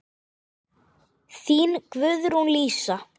Þín, Guðrún Lísa.